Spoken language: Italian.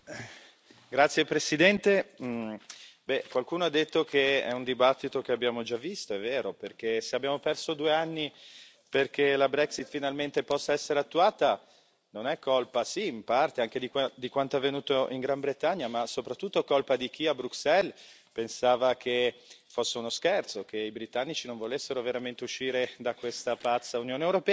Signora Presidente, onorevoli colleghi, qualcuno ha detto che è un dibattito che abbiamo già visto, è vero, perché se abbiamo perso due anni perché la Brexit possa finalmente essere attuata, è colpa sì, in parte anche di quanto avvenuto in Gran Bretagna, ma soprattutto colpa di chi, a Bruxelles, pensava fosse uno scherzo, che i britannici non volessero veramente uscire da questa pazza Unione europea.